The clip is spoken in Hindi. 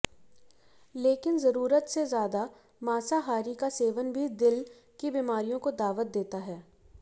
लेकिन जरूरत से ज्यादा मांसाहारी का सेवन भी दिल की बीमारियों को दावत देता है